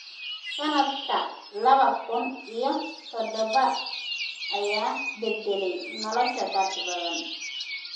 Sannadka laba kun iyo toddoba ayaa beddelay nolosha dad badan.